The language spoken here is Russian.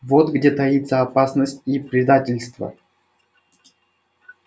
вот где таится опасность и предательство